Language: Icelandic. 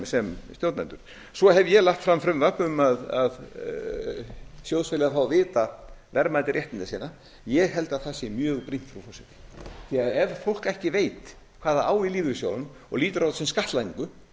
sem stjórnendur svo hef ég lagt fram frumvarp um að sjóðfélagar fái að vita verðmæti réttinda sinna ég held að það sé mjög brýnt frú forseti því ef fólk ekki veit hvað það á í lífeyrissjóðunum og lítur á það sem skattlagningu